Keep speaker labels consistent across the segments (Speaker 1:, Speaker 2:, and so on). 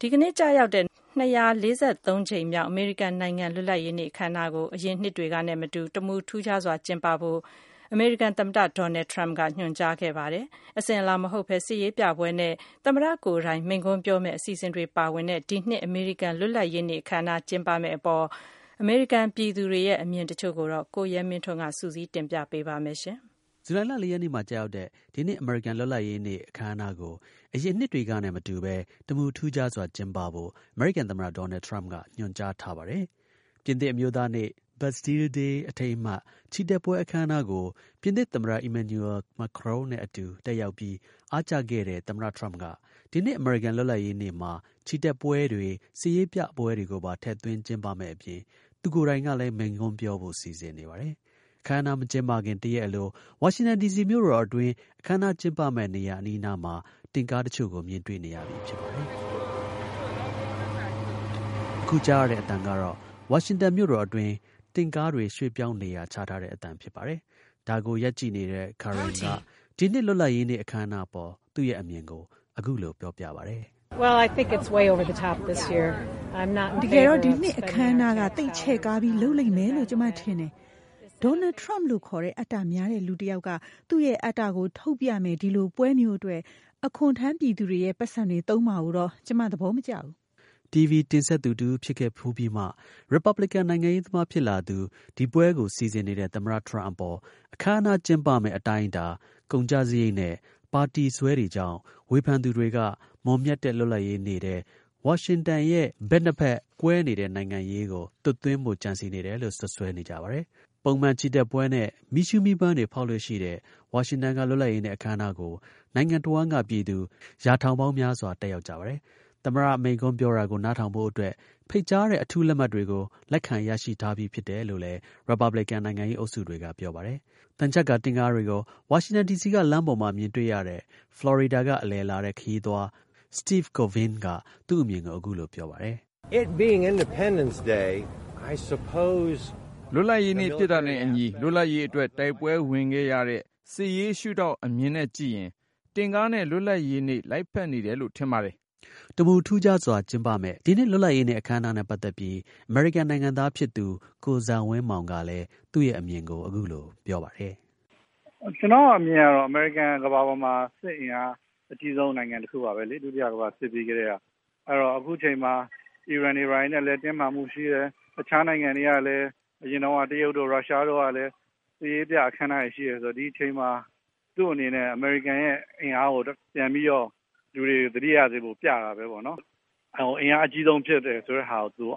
Speaker 1: ဒီနေ့ ကျရောက်တဲ့ ၂၄၃ ကြိမ်မြောက် အမေရိကန်နိုင်ငံ လွတ်လပ်ရေးနေ့ အခမ်းအနားကို အရင်နှစ်တွေကနဲ့ မတူ တမူထူးခြားစွာ ကျင်းပဖို့ အမေရိကန် သမ္မတ ဒေါ်နယ်ထရမ့်က ညွှန်ကြားခဲ့ပါတယ်။ အစဉ်အလာ မဟုတ်ဘဲ စစ်ရေးပြပွဲနဲ့ သမ္မတ ကိုယ်တိုင် မိန်ခွန်းပြောမယ့် အစီအစဉ်တွေ ပါဝင်တဲ့ ဒီနှစ် အမေရိကန် လွတ်လပ်ရေးနေ့ အခမ်းအနား ကျင်းပမယ့်အပေါ် အမေရိကန် ပြည်သူတွေရဲ့ အမြင်တချို့ကို ရိုက်တာသတင်းဌာနက မေးမြန်းထားတာကို အခြေခံပြီး ကိုရဲမင်းထွန်းက တင်ပြပေးပါမယ်။
Speaker 2: ဇူလိုင်လ ၄ ရက်နေ့မှာ ကျရောက်တဲ့ ဒီနှစ် အမေရိကန် လွတ်လပ်ရေးနေ့ အထိမ်းအမှတ် အခမ်းအနားကို အရင်နှစ်တွေကနဲ့ မတူဘဲ တမူထူးခြားစွာ ကျင်းပဖို့ အမေရိကန် သမ္မတ ဒေါ်နယ် ထရမ့်က ညွှန်ကြားထားပါတယ်။ ပြင်သစ် အမျိုးသားနေ့ Bastille Day အထိမ်းအမှတ် ချီတက်ပွဲ အခမ်းအနားကို ပြင်သစ် သမ္မတ Emmanuel Macron နဲ့အတူ တက်ရောက်ပြီး အားကျခဲ့တဲ့ သမ္မတ ထရမ့်က ဒီနှစ် အမေရိကန် လွတ်လပ်ရေး နေ့မှာ ချီတက်ပွဲတွေ စစ်ရေးပြပွဲတွေကိုပါ ထည့်သွင်း ကျင်းပမယ့်အပြင် သူကိုယ်တိုင်ကလည်း မိန့်ခွန်း ပြောဖို့ စီစဉ်နေပါတယ်။ အခမ်းအနား မကျင်းပခင် တစ်ရက်အလို ဝါရှင်တန်ဒီစီ မြို့တော် အတွင်း အခမ်းအနားကျင်းပမယ့် နေရာ အနီးအနားမှာ ပြပွဲမှာ ပါဝင်ပြသမယ့် တင့်ကားတွေကို မြင်တွေ့နေရပြီ ဖြစ်ပါတယ်။ အခု ကြားရတဲ့ အသံကတော့ ဝါရှင်တန်မြို့တော်အတွင်းက တင့်ကားတွေ ရွှေ့ပြောင်း နေရာချထားတဲ့ အသံဖြစ်ပါတယ်။ ဒါကို ရပ်ကြည်နေတဲ့ Karen က ဒီ နှစ် လွတ်လပ်ရေးနေ့ အခမ်းအနားအပေါ် သူ့ရဲ့ အမြင်ကို အခုလို ပြောပြပါတယ်။ “ တ
Speaker 1: ကယ်တော့ ဒီနှစ် အခမ်းအနားကို သိပ် ချဲ့ကားပြီး လုပ်လိမ့်မယ်လို့ ကျွန်မထင်တယ်။ ဒေါ်နယ်ထရမ့်လို့ ခေါ်တဲ့ အတ္တများတဲ့လူ တစ်ယောက်က သူ့ရဲ့ အတ္တကို ထုတ်ပြမယ့် ဒီလို ပွဲမျိုးအတွက် အခွန် ထမ်းပြည်သူတွေရဲ့ ပိုက်ဆံတွေ သုံးမှာကိုတော့ ကျွန်မ သဘော မကျပါဘူး။
Speaker 2: ” TV တင်ဆက်သူ တဦးဖြစ်ခဲ့ဖူးပြီးမှ ရစ်ပတ်ဘလင်ကန် နိုင်ငံရေးသမား ဖြစ်လာသူ ဒီပွဲကို စီစဉ်နေတဲ့ သမ္မတ ထရမ့်အပေါ် အခမ်းအနား ကျင်းပမယ့် အတိုင်းအတာ၊ ကုန်ကျစရိတ်နဲ့ ပါတီစွဲတွေကြောင့် ဝေဖန်သူတွေက မွန်မြတ်တဲ့ လွတ်လပ်ရေးနေ့ထဲ ဝါရှင်တန်ရဲ့ ဘက်နှစ်ဖက် ကွဲတဲ့ နိုင်ငံရေးကို သွတ်သွင်းဖို့ ကြံစည်နေတယ်လို့ စွပ်စွဲကြပါတယ်။ ပုံမှန် ချီတက်ပွဲနဲ့ မီးရှူးမီးပန်းတွေ ဖောက်လေ့ရှိတဲ့ ဝါရှင်တန်က လွတ်လပ်ရေးနေ့ အခမ်းအနားကို နိုင်ငံတစ်ဝှမ်းက ပြည်သူ ရာထောင် ပေါင်းများစွာ တက်ရောက်ကြပါတယ်။ သမ္မတ မိန့်ခွန်းပြောတာကို နားထောင်ဖို့အတွက် ဖိတ်ကြားတဲ့ အထူးလက်မှတ်တွေကို လက်ခံ ရရှိထားပြီဖြစ်တယ်လို့လည်း ရစ်ပတ်ဘလစ်ကန် နိုင်ငံရေး အုပ်စုတွေက ပြောပါတယ်။ သံချပ်ကာ တင့်ကားတွေကို ဝါရှင်တန်ဒီစီက လမ်းပေါ်မှာ မြင်တွေ့ရတဲ့ ဖလော်ရီဒါက အလည်လာတဲ့ ခရီးသွား Steve Covnin တော့ သူ့အမြင်ကို အခုလို ပြောပါတယ်။ “
Speaker 1: လွတ်လပ်ရေးနေ့ ဖြစ်တာနဲ့အညီ လွတ်လပ်ရေးအတွက် တိုက်ပွဲဝင်ခဲ့ရတဲ့ စစ်ရေး ရှုထောင့်အ
Speaker 2: မြင်နဲ့ကြည့်ရင် တင့်ကားနဲ့ လွတ်လပ်ရေးနေ့ လိုက်ဖက်နေတယ်လို့ ထင်ပါတယ်။” တမူ ထူးခြားစွာ ကျင်းပမယ့် ဒီနှစ် လွတ်လပ်ရေးနေ့ အခမ်းအနားနဲ့ ပတ်သက်ပြီး အမေရိကန် နိုင်ငံသားဖြစ်သူ ကိုဇံဝင်းမောင်ကလည်း သူ့ရဲ့ အမြင်ကို အခုလို ပြောပါတယ်
Speaker 1: ။ “ ကျနော့် အမြင်ကတော့ အမေရိကန်က ကမ္ဘာပေါ်မှာ စစ်အင်အား အကြီးဆုံး နိုင်ငံ တခုပါဘဲလေ။ ဒုတိယ ကမ္ဘာစစ်ပြီးကတည်းက။ အဲတော့ အခုအချိန်မှာ အီရန်တွေ ဘာတွေနဲ့လည်း တင်းမာမှု ရှိတယ်၊ တခြားနိုင်ငံတွေကလည်း အရင်တုန်းက တရုတ်တို့ ရုရှားတို့ကလည်း စစ်ရေးပြ အခမ်းအနားတွေ ရှိတယ် ဆိုတော့ ဒီအချိန်မှာ သူ့အနေနဲ့ အမေရိကန်ရဲ့ အင်အားကို ပြန်ပြီးတော့ လူတွေ သတိရနေဖို့ ပြတာဘဲပေါ့နော်။ အင်အား အကြီးဆုံး ဖြစ်တယ်ဆိုတဲ့ဟာကို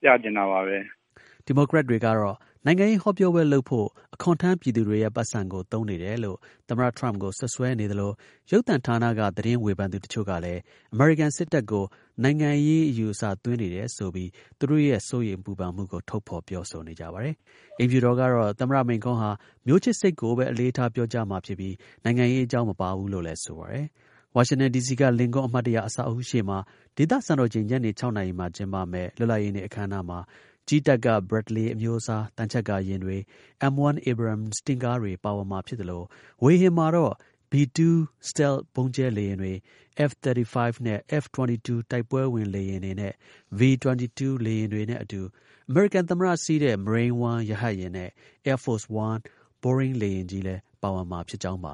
Speaker 1: ပြချင်တာပါဘဲ။
Speaker 2: ” ဒီမိုကရက်တွေကတော့ နိုင်ငံရေး ဟောပြောပွဲလုပ်ဖို့ အခွန်ထမ်း ပြည်သူတွေရဲ့ ပိုက်ဆံကို သုံးနေတယ်လို့ သမ္မတထရမ့်ကို စွပ်စွဲနေသလို ရုပ်သံ ဌာနက သတင်းဝေဖန်သူ တချို့လည်း အမေရိကန် စစ်တပ်ကို နိုင်ငံရေး ဇာတ်သွင်းနေတယ်ဆိုပြီး သူတို့ရဲ့ စိုးရိမ် ပူပန်မှုကို ထုတ်ဖော် ပြောဆိုကြပါတယ်။ အိမ်ဖြူတော်ကတော့ သမ္မတ မိန်းခွန့်ဟာ မျိုးချစ်စိတ်ကိုပဲ အလေးထား ပြောကြားမှာဖြစ်ပြီး နိုင်ငံရေးအကြောင်း မပါဘူးလို့လည်း ဆိုပါတယ်။ ဝါရှင်တန် ဒီစီက လင်ကွန်း အမှတ်တရ အဆောက်အဦးရှေ့မှာ ဒေသ စံတော်ချိန် ညနေ ၆ နာရီ မှာ ကျင်းပမယ့် လွတ်လပ်ရေးနေ့ အခမ်းအနားမှာ ကြည်းတပ်က Bradley အမျိုးအစား သံချပ်ကာ ယာဉ်တွေ၊ M 1 Abrams တင့်ကားတွေပါဝင်မှာ ဖြစ်သလို ဝေဟင်မှာတော့ B-2 စတဲ့လ့် ဗုံးကြဲလေယာဉ်တွေ၊ F-35 နဲ့ F-22 တိုက်ပွဲဝင် လေယာဉ်တွေ၊ V-22 လေယာဉ်တွေနဲ့အတူ အမေရိကန် သမ္မတစီးတဲ့ Marine One ရဟတ်ယာဉ်နဲ့ Air Force One ဘိုးအင်း လေယာဉ်ကြီးလည်း ပါဝင်မှာ ဖြစ်ကြောင်းပါ